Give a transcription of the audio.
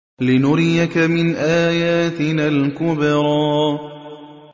لِنُرِيَكَ مِنْ آيَاتِنَا الْكُبْرَى